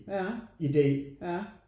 Ja ja